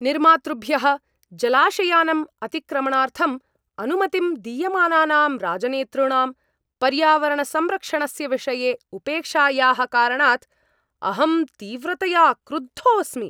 निर्मातृभ्यः जलाशयानाम् अतिक्रमणार्थम् अनुमतिं दीयमानानां राजनेतॄणाम् पर्यावरणसंरक्षणस्य विषये उपेक्षायाः कारणात् अहं तीव्रतया क्रुद्धोस्मि।